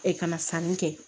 kana sanni kɛ